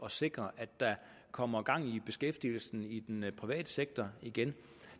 at sikre at der kommer gang i beskæftigelsen i den private sektor igen